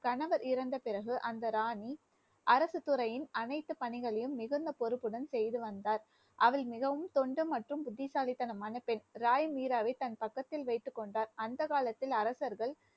கணவர் இறந்த பிறகு, அந்த ராணி அரசுத்துறையின் அனைத்து பணிகளையும் மிகுந்த பொறுப்புடன் செய்து வந்தார் அவள் மிகவும் தொண்டு மற்றும் புத்திசாலித்தனமான பெண் ராய் தன் பக்கத்தில் வைத்துக் கொண்டார் அந்த காலத்தில் அரசர்கள்